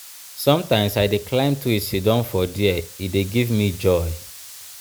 sometimes i dey climb tree siddon for there e dey give me joy.